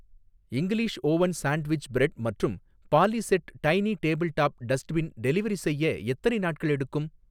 English oven sandwich bread மற்றும் polished tiny table top dustbin delivery செய்ய எத்தனை நாட்கள் எடுக்கும்?